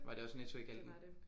Var det også Netto i Galten?